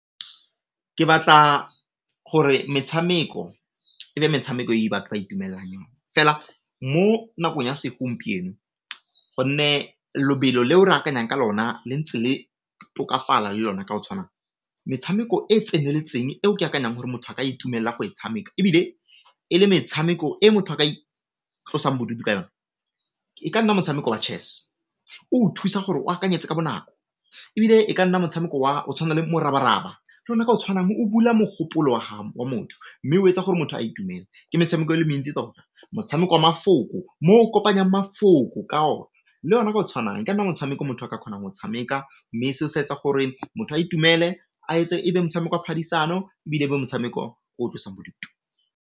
Ke batla gore metshameko e be metshameko e batho ba itumellang yona, fela mo nakong ya segompieno gonne lobelo le o re akanyang ka lona le ntse le tokafala le lona ka go tshwana, metshameko e tseneletseng eo ke akanyang gore motho a ka itumella go e tshameka ebile e le metshameko e motho a ka itlosang bodutu ka yone, e ka nna motshameko wa Chess o thusa gore o akanyetse ka bonako ebile e ka nna motshameko o tshwana le Morabaraba o bula mogopolo wa gago, wa motho mme o etsa gore motho a itumele ke metshameko e le mentsi tota, motshameko wa mafoko mo o kopanyang mafoko ka o na le yona o tshameka motho a ka kgonang go tshameka mme se o se etsa gore motho a itumele, a etse ebe motshameko phadisano ebile e be motshameko o tlosang bodutu.